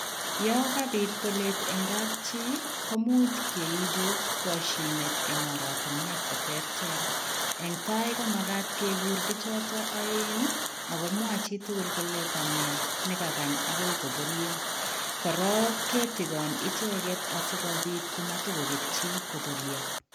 Yaan kabiit boleet en kapchii komuuch keibuu kashineet en oratinweek che terter eng tai komagaat keguur bichotoo aeng sikomwaah tugul kole kanee ne kaagaany agoi kobolyaa korong kitigaan ichegeet asikobiit koot matitakoketyi.